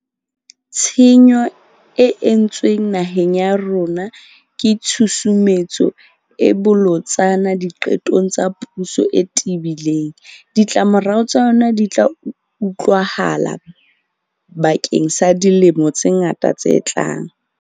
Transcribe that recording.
Tshenyo e entsweng naheng ya rona ke tshusumetso e bolotsana diqetong tsa puso e tebileng. Ditlamorao tsa yona di tla utlwahala bakeng sa dilemo tse ngata tse tlang.